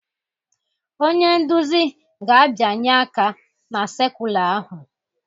Onye nduzi ga-abịanye aka na sekula ahụ